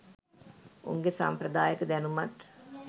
උන්ගෙ සම්ප්‍රදායික දැනුමත්